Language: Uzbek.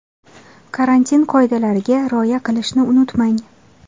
Karantin qoidalariga rioya qilishni unutmang.